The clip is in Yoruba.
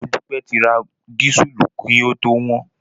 Modúpẹ́ ti ra dísùlù kí ó tó wọ́n.